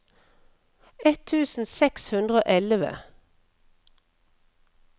ett tusen seks hundre og elleve